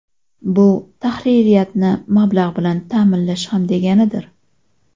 Bu tahririyatni mablag‘ bilan ta’minlash ham deganidir.